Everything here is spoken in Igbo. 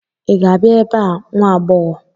Ị ga-abịa ebe a, nwa agbọghọ!